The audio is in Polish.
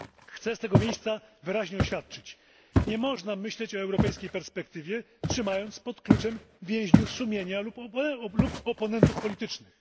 Chcę z tego miejsca wyraźnie oświadczyć nie można myśleć o europejskiej perspektywie, trzymając pod kluczem więźniów sumienia lub oponentów politycznych.